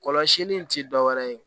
Kɔlɔsili in ti dɔwɛrɛ ye